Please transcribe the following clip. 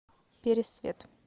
пересвет